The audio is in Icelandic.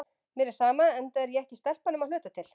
Mér er sama, enda er ég ekki stelpa nema að hluta til.